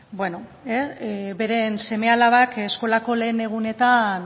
beren seme alabak eskolako lehen egunetan